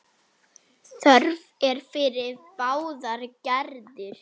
Þörf er fyrir báðar gerðir.